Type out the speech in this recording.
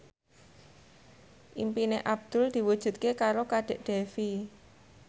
impine Abdul diwujudke karo Kadek Devi